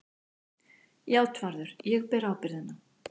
JÁTVARÐUR: Ég ber ábyrgðina.